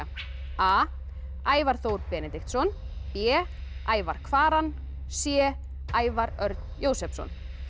a Ævar Þór Benediktsson b Ævar Kvaran c Ævar Örn Jósepsson